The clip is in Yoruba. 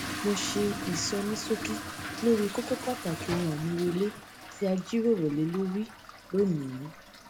mo ṣe ìsonísókí lórí kókó pàtàkì ohun àmúrelé tí a jíròrò lé lórí lónìí